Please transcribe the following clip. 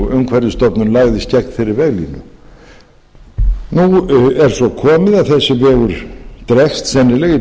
umhverfisstofnun lagðist gegn þeirri veglínu nú er svo komið að þessi vegur dregst sennilega í